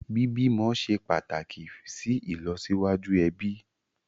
Bí bímọ ṣe pàtàkì sì ìlọsíwájú ẹbí